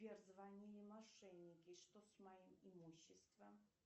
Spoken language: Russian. сбер звонили мошенники что с моим имуществом